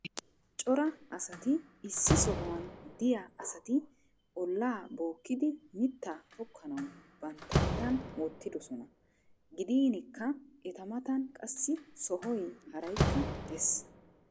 cora asati issi sohuwan diya asati ollaa bookidi mittaa tokkanawu bantta mattan wotidosona. gidinkka eta matan qassi sohoy haraykka des.